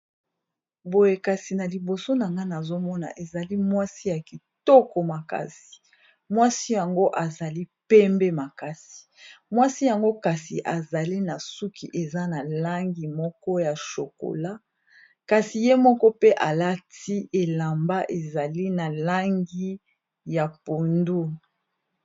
Boye liboso na ngai nazomona eza mwasi kitoko makasi azali pembe makasi aza na suki ya chocolat alati elamba ya langi ya mayi ya pondu.